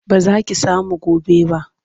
Ba za ki samu gobe ba.